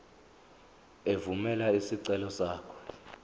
evumela isicelo sakho